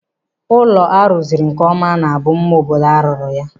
Ụlọ a rụziri nkeọma ọ na-bụ mma obodo a rụrụ ya?